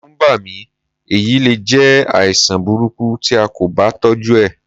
Ẹ̀rù ń bà mí, èyí le jẹ́ àìsàn burúkú tí a kò bá tọ́jú ẹ̀.